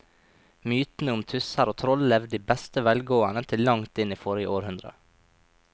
Mytene om tusser og troll levde i beste velgående til langt inn i forrige århundre.